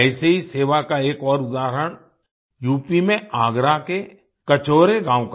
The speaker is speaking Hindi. ऐसे ही सेवा का एक और उदाहरण यूपी में आगरा के कचौरा गाँव का